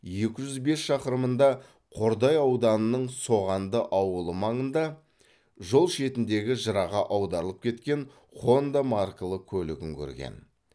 екі жүз бес шақырымында қордай ауданының соғанды ауылы маңында жол шетіндегі жыраға аударылып кеткен хонда маркалы көлігін көрген